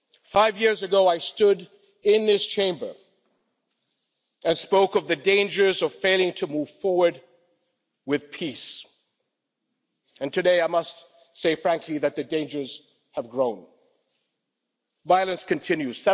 Five years ago, I stood in this Chamber and spoke of the dangers of failing to move forward with peace, and today, I must say frankly that the dangers have grown violence continues